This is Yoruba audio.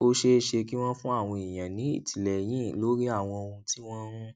ó ṣeé ṣe kí wọn fún àwọn èèyàn ní ìtìlẹyìn lórí àwọn ohun tí wọn ń